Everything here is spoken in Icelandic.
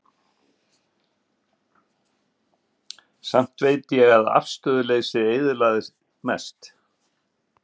Samt veit ég að afstöðuleysið eyðilagði mest.